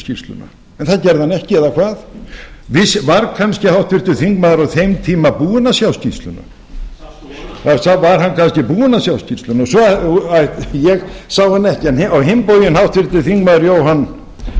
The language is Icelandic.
skýrsluna en það gerði hann ekki eða hvað var kannski háttvirtur þingmaður á þeim tíma búinn að sjá skýrsluna ég sá hana ekki en á hinn bóginn háttvirtur þingmaður